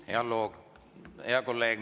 Hea kolleeg!